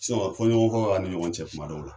sinɔn fɔ ɲɔgɔn kɔ ani ɲɔgɔn cɛ kuma dɔw la